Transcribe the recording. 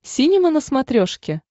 синема на смотрешке